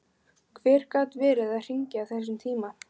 Hver gat verið að hringja á þessum tíma?